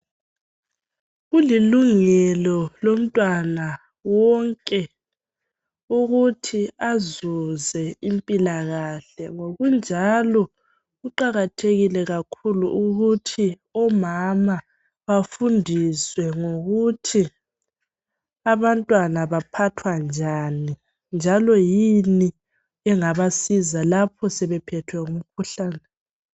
Kulilungelo lomntwana wonke ukuthi azuze impilakahle ngokunjalo kuqakathekile kakhulu ukuthi omama bafundiswe ngokuthi abantwana baphathwa njani njalo yini engabasiza lapho sebephethwe ngumkhuhlane